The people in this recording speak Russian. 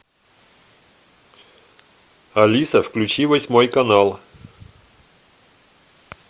алиса включи восьмой канал